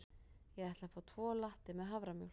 Ég ætla að fá tvo latte með haframjólk.